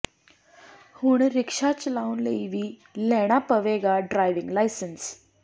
ਹੁਣ ਰਿਕਸ਼ਾ ਚਲਾਉਣ ਲਈ ਵੀ ਲੈਣਾ ਪਵੇਗਾ ਡਰਾਈਵਿੰਗ ਲਾਇਸੈਂਸ